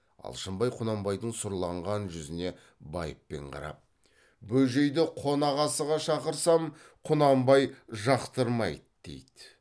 алшынбай құнанбайдың сұрланған жүзіне байыппен қарап бөжейді қонақ асыға шақырсам құнанбай жақтырмайды дейді